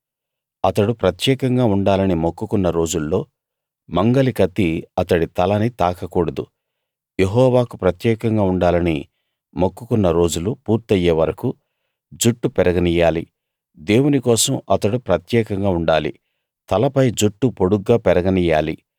అతడు ప్రత్యేకంగా ఉండాలని మొక్కుకున్న రోజుల్లో మంగలి కత్తి అతడి తలని తాకకూడదు యెహోవాకు ప్రత్యేకంగా ఉండాలని మొక్కుకున్న రోజులు పూర్తయే వరకూ జుట్టు పెరగనియ్యాలి దేవుని కోసం అతడు ప్రత్యేకంగా ఉండాలి తలపై జుట్టు పొడుగ్గా పెరగనియ్యాలి